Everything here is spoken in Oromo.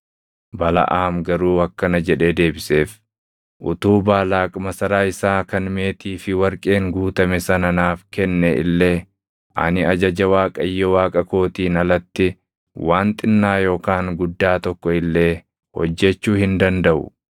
Balaʼaam garuu akkana jedhee deebiseef; “Utuu Baalaaq masaraa isaa kan meetii fi warqeen guutame sana naaf kenne illee, ani ajaja Waaqayyo Waaqa kootiin alatti waan xinnaa yookaan guddaa tokko illee hojjechuu hin dandaʼu.